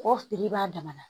Kɔkɔ fili b'a dama na